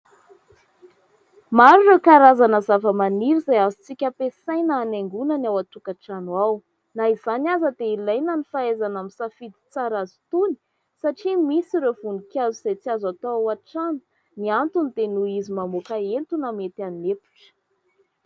Maro ireo karazana zavamaniry izay azontsika hampiasaina hanaingona ny ao antokatrano ao, na izany aza dia ilaina ny fahaizana misafidy tsara azy itony satria misy ireo voninkazo izay tsy azo atao ao antrano ; ny anto ny dia noho izy mamoaka entona mety hanepotra.